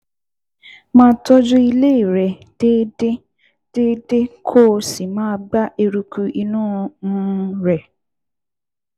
Máa tọ́jú inú ilé rẹ déédéé déédéé kó o sì máa gbá eruku inú um rẹ̀